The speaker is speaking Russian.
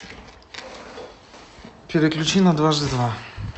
переключи на дважды два